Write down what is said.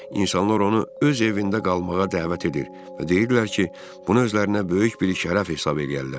İnsanlar onu öz evində qalmağa dəvət edir və deyirdilər ki, bunu özlərinə böyük bir şərəf hesab eləyərlər.